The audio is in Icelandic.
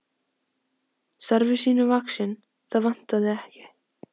Starfi sínu vaxinn, það vantaði ekki.